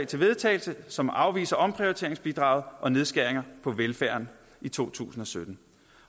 til vedtagelse som afviser omprioriteringsbidraget og nedskæringer på velfærden i to tusind og sytten